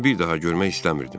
Onu bir daha görmək istəmirdim.